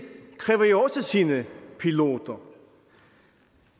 kræver jo også sine piloter